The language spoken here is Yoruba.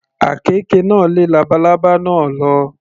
Àkekè náà lé labalábá náà lọ.